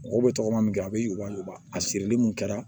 Mɔgɔw bɛ tɔgɔma min kɛ a bɛ yuguba yuguba a sirili mun kɛra